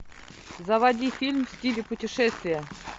заводи фильм в стиле путешествия